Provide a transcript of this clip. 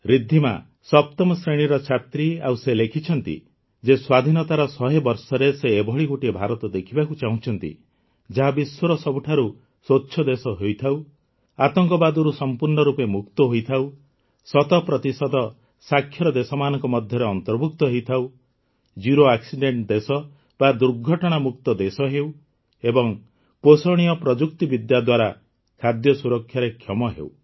ରିଦ୍ଧିମା ସପ୍ତମ ଶ୍ରେଣୀର ଛାତ୍ରୀ ଆଉ ସେ ଲେଖିଛନ୍ତି ଯେ ସ୍ୱାଧୀନତାର ଶହେ ବର୍ଷରେ ସେ ଏଭଳି ଗୋଟିଏ ଭାରତ ଦେଖିବାକୁ ଚାହୁଁଛନ୍ତି ଯାହା ବିଶ୍ୱର ସବୁଠାରୁ ସ୍ୱଚ୍ଛ ଦେଶ ହୋଇଥାଉ ଆତଙ୍କବାଦରୁ ସମ୍ପୂର୍ଣ୍ଣ ରୂପେ ମୁକ୍ତ ହୋଇଥାଉ ଶତ ପ୍ରତିଶତ ସାକ୍ଷର ଦେଶମାନଙ୍କ ମଧ୍ୟରେ ଅନ୍ତର୍ଭୁକ୍ତ ହୋଇଥାଉ ଜେରୋ ଆକ୍ସିଡେଣ୍ଟ ଦେଶ ବା ଦୁର୍ଘଟଣାମୁକ୍ତ ଦେଶ ହେଉ ଏବଂ ପୋଷଣୀୟ ପ୍ରଯୁକ୍ତିବିଦ୍ୟା ଦ୍ୱାରା ଖାଦ୍ୟ ସୁରକ୍ଷାରେ କ୍ଷମ ହେଉ